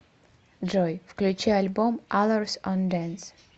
джой включи альбом алорс он дэнс